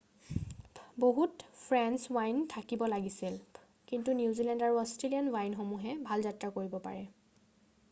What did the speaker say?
বহুত French wine থাকিব লাগিছিল কিন্তু নিউজিলেণ্ড আৰু অষ্ট্ৰেলীয়ান ৱাইনসমূহে ভাল যাত্ৰা কৰিব পাৰে৷